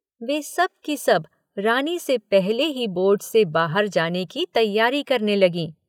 वे सब की सब रानी से पहले ही बोर्ड से बाहर जाने की तैयारी करने लगीं।